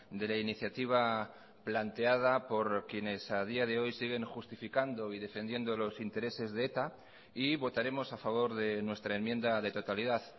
de la iniciativa planteada por quienes a día de hoy siguen justificando y defendiendo los intereses de eta y votaremos a favor de nuestra enmienda de totalidad